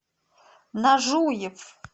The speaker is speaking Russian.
нажуев